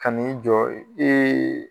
Kani jɔ